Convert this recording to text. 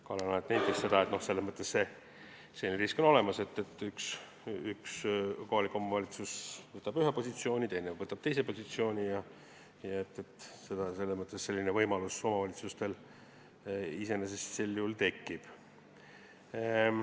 Kalle Laanet nentis, et selles mõttes on selline risk olemas, et üks kohalik omavalitsus võtab ühe positsiooni, teine võtab teise positsiooni ja selline võimalus omavalitsustel sel juhul tekib.